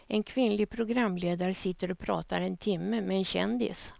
En kvinnlig programledare sitter och pratar en timme med en kändis.